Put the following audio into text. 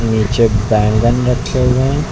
नीचे बैंगन रखे हुए हैं।